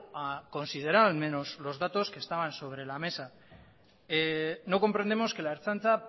a considerar al menos los datos que estaban sobre la mesa no comprendemos que la ertzaintza